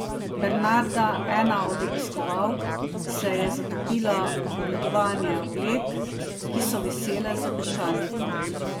Bernarda, ena od obiskovalk, se je zatopila v ogledovanje oblek, ki so visele z obešalnikov.